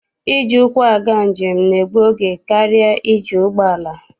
Iji ụkwụ aga njem na-egbu oge karịa iji ụgbọala.